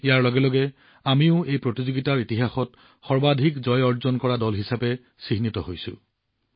ইয়াৰ লগে লগে আমিও এই প্ৰতিযোগিতাৰ ইতিহাসত সৰ্বাধিক জয়ী দল হৈ পৰিছো